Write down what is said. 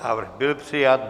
Návrh byl přijat.